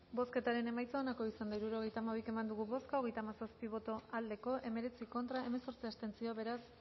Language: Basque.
bozketaren emaitza onako izan da hirurogeita hamalau eman dugu bozka hogeita hamazazpi boto aldekoa hemeretzi contra hemezortzi abstentzio beraz